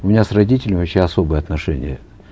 у меня с родителями вообще особые отношения